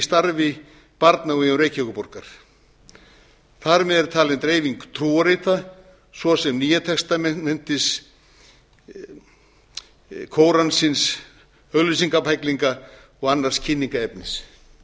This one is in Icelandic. starfi barna á vegum reykjavíkurborgar þar með er talin dreifing trúarrita svo sem nýja testamentið kóransins auglýsingabæklinga og annars kynningarefnis